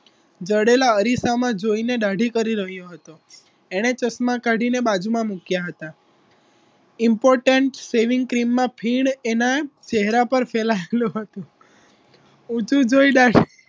જડેલા અરીસામાં જોઈને દાઢી કરી રહ્યો હતો એણે ચશ્મા કાઢીને બાજુમાં મૂક્યા હતા important saving ક્રીમ માં ફીણ એના ચહેરા પર ફેલાયેલું હતું ઊંચું જોઈ